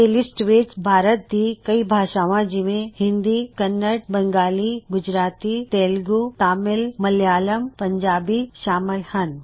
ਇਸ ਲਿਸਟ ਵਿੱਚ ਭਾਰਤ ਦੀ ਕਈ ਭਾਸ਼ਾਵਾਂ ਜਿਵੇਂ ਹਿੰਦੀ ਕੰਨੜ ਬੰਗਾਲੀ ਗੁਜਰਾਤੀ ਤੇਲਗੂ ਤਾਮਿਲ ਮਲਿਆਲਮ ਪੰਜਾਬੀ ਸ਼ਾਮਲ ਹਨ